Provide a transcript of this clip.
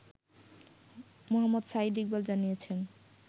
মোহাম্মদ সাঈদ ইকবাল জানিয়েছেন